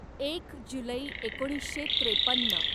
एक जुलै एकोणीसशे त्रेपन्न